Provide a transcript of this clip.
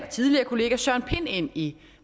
tidligere kollega søren pind ind i